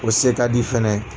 O se ka di fɛnɛ.